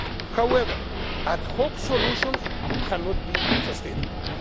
However, ad hoc solutions cannot be sustainable.